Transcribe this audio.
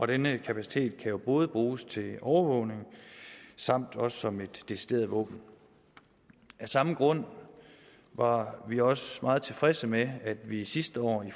denne kapacitet kan jo både bruges til overvågning samt også som et decideret våben af samme grund var vi også meget tilfredse med at vi sidste år i